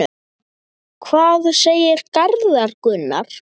Hvað segir Garðar Gunnar?